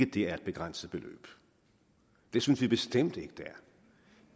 det er et begrænset beløb det synes vi bestemt ikke det